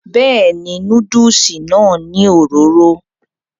bẹ́ẹ̀ni, núdùsì náà ní òróró